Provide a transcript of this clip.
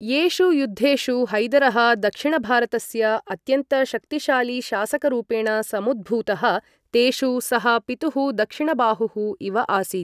येषु युद्धेषु हैदरः दक्षिणभारतस्य अत्यन्तशक्तिशालीशासकरूपेण समुद्भूतः, तेषु सः पितुः दक्षिणबाहुः इव आसीत्।